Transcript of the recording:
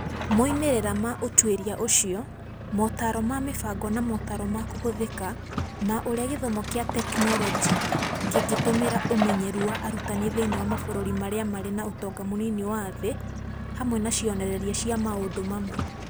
Moimĩrĩra ma ũtuĩria ũcio, motaaro ma mĩbango na motaaro ma kũhũthĩka ma ũrĩa gĩthomo kĩa tekinoronjĩ Kĩngĩtũmĩra ũmenyeru wa arutani thĩinĩ wa mabũrũri marĩa marĩ na ũtonga mũnini na wa thĩ, hamwe na cionereria cia maũndũ mamwe.